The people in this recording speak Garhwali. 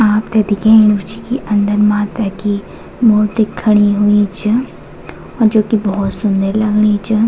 आपथे दिख्येणु च की अन्दर माता की मूर्ति खड़ीं हुयीं च और जो की भौत सुन्दर लगणी च।